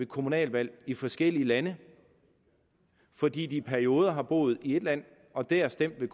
kommunalvalg i forskellige lande fordi de i perioder har boet i ét land og dér stemt ved